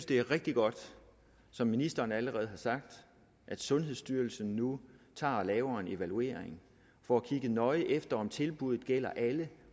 det er rigtig godt at som ministeren allerede har sagt sundhedsstyrelsen nu laver en evaluering for at kigge nøjere efter om tilbuddet gælder alle